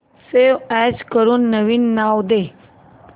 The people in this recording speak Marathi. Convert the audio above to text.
सेव्ह अॅज करून नवीन नाव दे